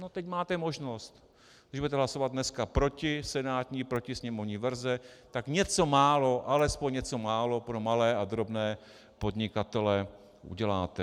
No teď máte možnost, když budete hlasovat dneska proti senátní, proti sněmovní verzi, tak něco málo, alespoň něco málo pro malé a drobné podnikatele uděláte.